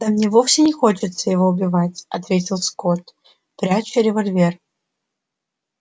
да мне вовсе не хочется его убивать ответил скотт пряча револьвер